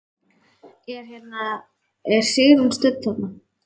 Er hérna. er Sigrún stödd þarna?